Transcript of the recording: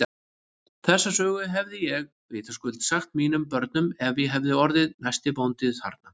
Þessa sögu hefði ég vitaskuld sagt mínum börnum ef ég hefði orðið næsti bóndi þarna.